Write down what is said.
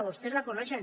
vostès la coneixen